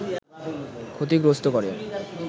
ক্ষতিগ্রস্ত করে